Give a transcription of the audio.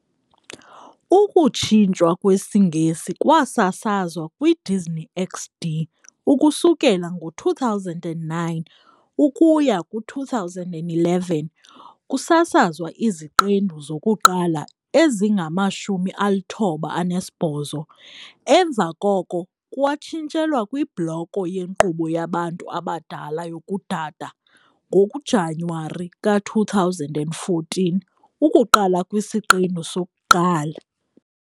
Ukutshintshwa kwesiNgesi kwasasazwa kwiDisney XD ukusukela ngo-2009 ukuya ku-2011, kusasazwa iziqendu zokuqala ezingama-98, emva koko kwatshintshelwa kwibloko yenkqubo yabantu abadala yokuDada ngoJanuwari ka-2014, ukuqala kwisiqendu sokuqala.